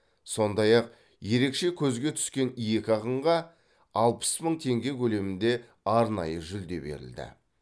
сондай ақ ерекше көзге түскен екі ақынға алпыс мың теңге көлемінде арнайы жүлде берілді